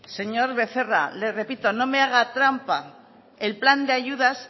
señor becerra le repito no me haga trampa el plan de ayudas